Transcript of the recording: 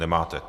Nemáte.